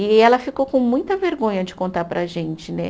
E ela ficou com muita vergonha de contar para a gente, né?